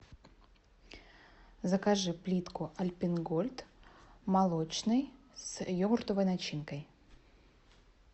закажи плитку альпен гольд молочный с йогуртовой начинкой